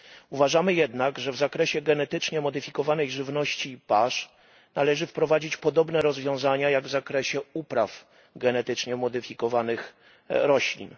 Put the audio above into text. Uważamy jednak, że w zakresie genetycznie modyfikowanej żywności i pasz należy wprowadzić podobne rozwiązania jak w zakresie upraw genetycznie modyfikowanych roślin.